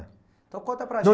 É. Então conta para a